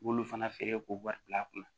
I b'olu fana feere k'o wari bila a kunna